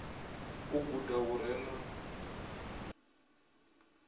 u guda hu re na